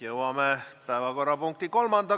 Jõuame kolmanda teemani.